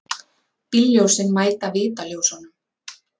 Bílljósin mæta vitaljósunum.